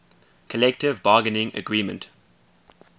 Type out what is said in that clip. collective bargaining agreement